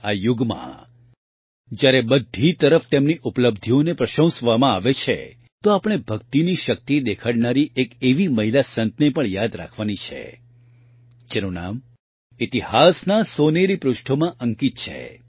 આ યુગમાં જયારે બધી તરફ તેમની ઉપલબ્ધિઓને પ્રશંસવામાં આવે છે તો આપણે ભક્તિની શક્તિ દેખાડનારી એક એવી મહિલા સંતને પણ યાદ રાખવાની છે જેનું નામ ઇતિહાસના સોનેરી પૃષ્ઠોમાં અંકિત છે